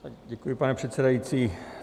Děkuji, pane předsedající.